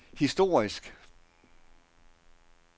historisk